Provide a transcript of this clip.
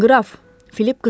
Qraf, Filip qızardı.